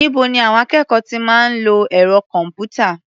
Níbo ni àwọn akẹ́kọ̀ọ́ ti máa ń lo ẹ̀rọ kọ̀m̀pútà?